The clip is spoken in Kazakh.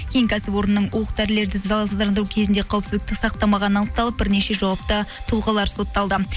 кейін кәсіпорынның оқ дәрілерді залалсыздандыру кезінде қауіпсіздікті сақтамағаны анықталып бірнеше жауапты тұлғалар сотталды